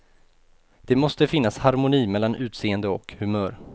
Det måste finnas harmoni mellan utseende och humör.